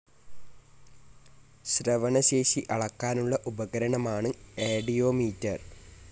ശ്രവണശേഷി അളക്കാനുള്ള ഉപകരണമാണ് ആഡിയോമീറ്റർ.